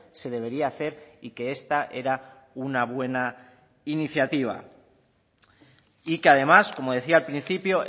se debería hacer y que esta era una buena iniciativa y que además como decía al principio